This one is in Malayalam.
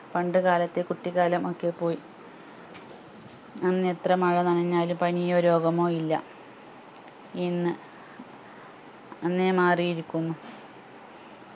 പണ്ട് കാലത്തെ കുട്ടിക്കാലം ഒക്കെ പോയി അന്ന് എത്ര മഴ നഞ്ഞാലും പനിയോ രോഗമോ ഇല്ല ഇന്ന് അന്നേ മാറിയിരിക്കുന്നു